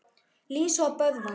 Lísa og Böðvar.